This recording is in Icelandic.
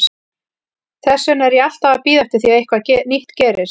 Þess vegna er ég alltaf að bíða eftir því að eitthvað nýtt gerist.